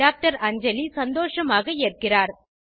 doctor Anjali சந்தோஷமாக ஏற்கிறார்